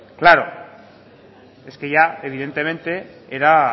claro es que ya evidentemente era